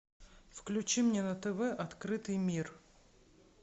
включи мне на тв открытый мир